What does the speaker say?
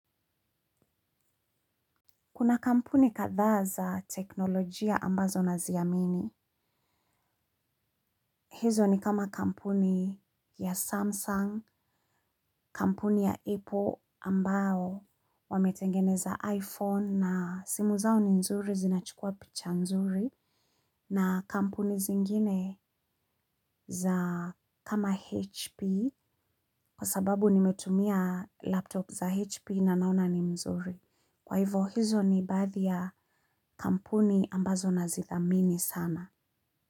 Kuna kampuni kadha za teknolojia ambazo naziamini. Hizo ni kama kampuni ya Samsung, kampuni ya Apple ambao wametengeneza iPhone na simu zao ni nzuri zinachukua picha nzuri. Na kampuni zingine za kama HP kwa sababu nimetumia laptop za HP na naona ni mzuri. Kwa hivo hizo ni baadhi ya kampuni ambazo nazithamini sana.